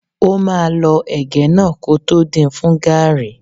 Ó máà lọ ẹ̀gẹ́ náà kótó din fún gàrrí.